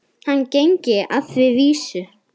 Hann gengi að því vísu.